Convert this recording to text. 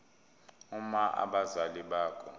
uma abazali bakho